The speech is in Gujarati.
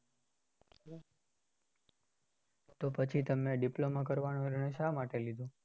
તો પછી તમે diploma કરવાનો નિર્ણય શા માટે લીધો?